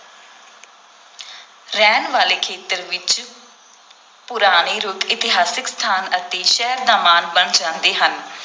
ਰਹਿਣ ਵਾਲੇ ਖੇਤਰ ਵਿਚ ਪੁਰਾਣੇ ਰੁੱਖ ਇਤਿਹਾਸਕ ਸਥਾਨ ਅਤੇ ਸ਼ਹਿਰ ਦਾ ਮਾਣ ਬਣ ਜਾਂਦੇ ਹਨ।